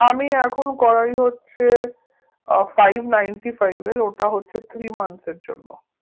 আমি এখন করাই হচ্ছে আহ five nienty-five এর ওটা হচ্ছে three months এর জন্য